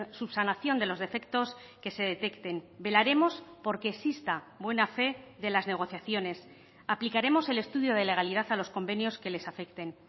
subsanación de los defectos que se detecten velaremos por que exista buena fe de las negociaciones aplicaremos el estudio de legalidad a los convenios que les afecten